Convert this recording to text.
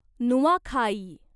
Nuakhai